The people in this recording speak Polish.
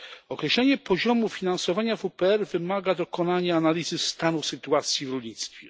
Określenie poziomu finansowania WPR wymaga dokonania analizy stanu sytuacji w rolnictwie.